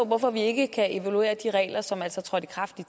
hvorfor vi ikke kan evaluere de regler som altså trådte i kraft i